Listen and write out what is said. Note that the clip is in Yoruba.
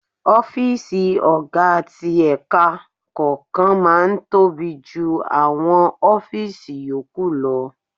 Ọ́fíìsì ọ̀gá ti ẹ̀ka kọ̀ọ̀kan máa ń tóbi jù àwọn ọ́fíìsì yòókù.